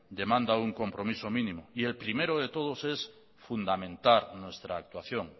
demanda un compromiso mínimo y el primero de todos es fundamentar nuestra actuación